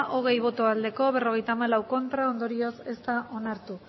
hogei bai berrogeita hamalau ez ondorioz ez da onartu